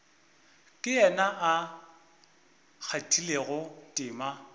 ke yena a kgathilego tema